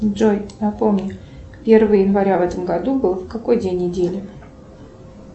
джой напомни первое января в этом году был какой день недели